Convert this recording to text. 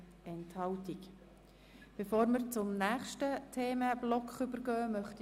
Hier haben wir Punkte, die wir gerne gemeinsam debattieren wollen.